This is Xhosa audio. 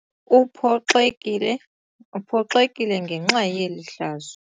Uphoxekile Uphoxekile ngenxa yeli hlazo.